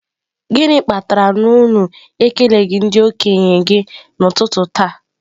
Gịnị kpatara na unu ekeleghị ndị okenye gị n'ụtụtụ taa?